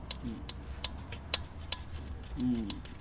হম উহ